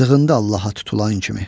Sığındı Allaha tutulan kimi.